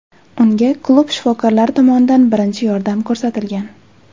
Unga klub shifokorlari tomonidan birinchi yordam ko‘rsatilgan.